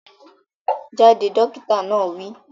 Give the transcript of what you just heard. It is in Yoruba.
Jáde! Dókítà náà wi